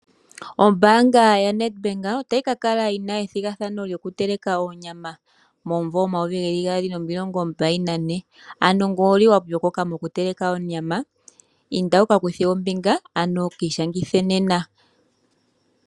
Ombanga ya Netbank otayi kakala yina ethigathano loku teleka onyama momumvo 2024.Ano nge owuli wa pyokoka oku teleka onyama inda wukakuthe ombinga ano kishangithe nena.